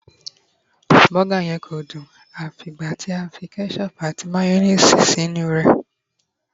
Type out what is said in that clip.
burger yen ko dun a f'igba ti a fi ketchup ati mayonnaise sí inú rẹ